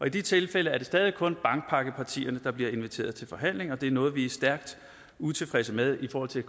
i de tilfælde er det stadig kun bankpakkepartierne der bliver inviteret til forhandlinger og det er noget vi er stærkt utilfredse med i forhold til